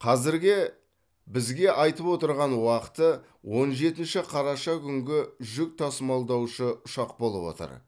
қазіргі бізге айтып отырған уақыты он жетінші қараша күнгі жүк тасымалдаушы ұшақ болып отыр